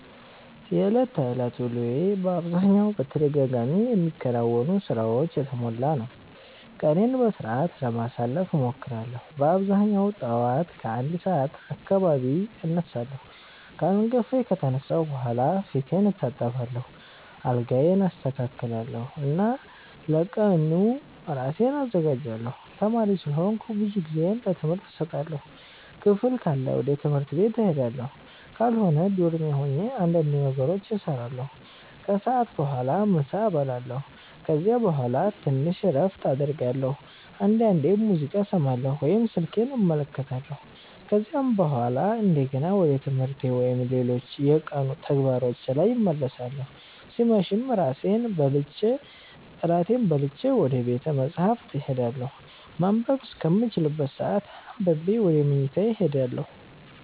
የዕለት ተዕለት ውሎዬ በአብዛኛው በተደጋጋሚ የሚከናወኑ ሥራዎች የተሞላ ነው። ቀኔን በሥርዓት ለማሳለፍ እሞክራለሁ በአብዛኛው ጠዋት ከ1 ሰዓት አካባቢ እነሳለሁ። ከእንቅልፌ ከተነሳሁ በኋላ ፊቴን እታጠባለሁ፣ አልጋዬን አስተካክላለሁ እና ለቀኑ ራሴን አዘጋጃለሁ። ተማሪ ስለሆንኩ ብዙ ጊዜዬን ለትምህርት እሰጣለሁ። ክፍል ካለ ወደ ትምህርት ቤት እሄዳለሁ፣ ካልሆነ ዶርሜ ሆኜ እንዳንድ ነገሮችን እሰራለሁ። ከሰዓት በኋላ ምሳ እበላለሁ ከዚያ በኋላ ትንሽ እረፍት አደርጋለሁ፣ አንዳንዴም ሙዚቃ እሰማለሁ ወይም ስልኬን እመለከታለሁ። ከዚያ በኋላ እንደገና ወደ ትምህርቴ ወይም ሌሎች የቀኑ ተግባሮቼ ላይ እመለሳለሁ ሲመሽም እራቴን በልቼ ወደ ቤተ መፃህፍት እሄዳለሁ ማንበብ እስከምችልበት ሰአት አንብቤ ወደ መኝታዬ እሄዳለሁ።